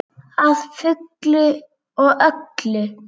Að fullu og öllu.